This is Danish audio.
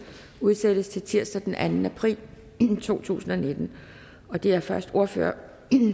udsættes til tirsdag den anden april to tusind og nitten det er først ordføreren